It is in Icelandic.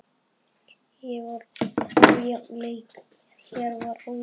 Hér var ójafn leikur.